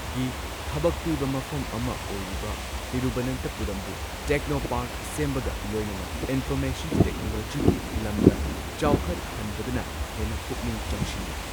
ꯒꯤ ꯊꯕꯛ ꯄꯤꯕ ꯃꯐꯝ ꯑꯃ ꯑꯣꯏꯔꯤꯕ ꯇꯤꯔꯨꯕꯅꯟꯊꯄꯨꯔꯝꯕꯨ ꯇꯦꯛꯅꯣꯄꯥꯔꯛ ꯁꯦꯝꯕꯒ ꯂꯣꯏꯅꯅ ꯏꯟꯐꯣꯔꯃꯦꯁꯟ ꯇꯦꯛꯅꯣꯂꯣꯖꯤꯒꯤ ꯂꯝꯗ ꯆꯥꯎꯈꯠꯍꯟꯕꯗꯅ ꯍꯦꯟꯅ ꯄꯨꯛꯅꯤꯡ ꯆꯪꯁꯤꯜꯂꯤ꯫